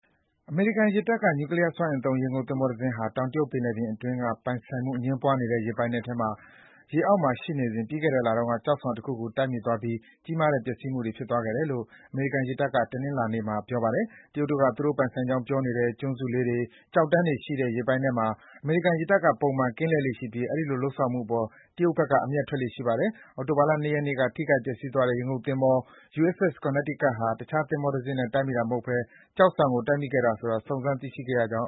အမေရိကန်ရေတပ်က နျူကလီယားစွမ်းအင်သုံး ရေငုပ်သင်္ဘောတစင်းဟာ တောင်တရုတ်ပင်လယ်ပြင်အတွင်းက ပိုင်ဆိုင်မှုအငြင်းပွားနေတဲ့ ရေပိုင်နက်အတွင်း ရေအောက်မှာရှိနေစဉ် ပြီးခဲ့တဲ့လက ကျောက်ဆောင်တခုကို တိုက်မိသွားပြီး ကြီးကြီးမားမား ပျက်စီးသွားခဲ့တယ်လို့ အမေရိကန်ရေတပ်က တနင်္လာနေ့မှာ ပြောပါတယ်။ တရုတ်တို့က သူတို့ပိုင်ဆိုင်ကြောင်းပြောနေတဲ့ ကျွန်းစုလေးတွေ၊ ကျောက်တန်းတွေရှိတဲ့ ရေပိုင်နက်တွေမှာ အမေရိကန်ရေတပ်က ပုံမှန် ကင်းလှည့်လေ့ရှိပြီး အဲဒီလို လုပ်ဆောင်မှုအပေါ် တရုတ်ဘက်က အမျက်ထွက်လေ့ရှိပါတယ်။ အောက်တိုဘာလ ၂ ရက်နေ့က ထိခိုက်ပျက်စီးသွားတဲ့ ရေငုပ် သင်္ဘော USS Connecticut ဟာ တခြားသင်္ဘောတစင်းနဲ့ တိုက်မိတာမဟုတ်ဘဲ ကျောက်ဆောင် ကို တိုက်မိခဲ့ခြင်းဖြစ်တယ်ဆိုတာ စုံစမ်း တွေ့ရှိခဲ့ကြောင်း